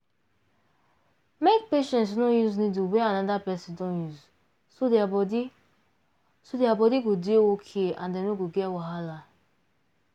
make patients no use needle wey another person don use so their body so their body go dey okay and dem no go get wahala